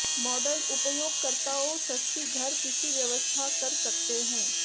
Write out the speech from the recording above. model उपयोगकर्ताओं सस्ती घर पीसी व्यवस्था कर सकते हैं